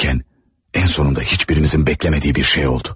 Daha sonra heç birimizin gözləmədiyi bir şey baş verdi.